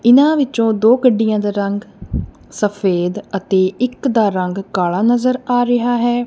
ਇਹਨਾਂ ਵਿਚੋਂ ਦੋ ਗੱਡੀਆਂ ਦਾ ਰੰਗ ਸਫ਼ੇਦ ਅਤੇ ਇੱਕ ਦਾ ਰੰਗ ਕਾਲ਼ਾ ਨਜ਼ਰ ਆ ਰਿਹਾ ਹੈ।